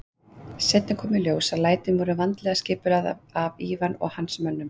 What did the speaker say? Seinna kom í ljós að lætin voru vandlega skipulögð af Ivan og hans mönnum.